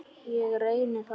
Ég reyni það.